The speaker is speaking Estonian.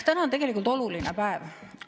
Täna on tegelikult oluline päev.